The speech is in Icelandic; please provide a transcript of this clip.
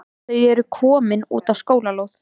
Þau eru komin út á skólalóð.